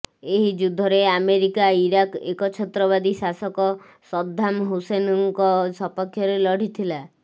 ଏହି ଯୁଦ୍ଧରେ America Iraq ଏକଛତ୍ରବାଦୀ ଶାସକ ସଦ୍ଦାମ ହୁସେନଙ୍କ ସପକ୍ଷରେ ଲଢିଥିଲା